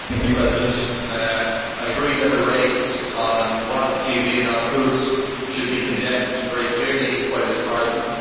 Mr President, I agree that the raids on Al Watan TV and Al Quds should be condemned very clearly by this Parliament.